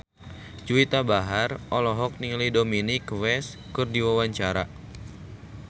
Juwita Bahar olohok ningali Dominic West keur diwawancara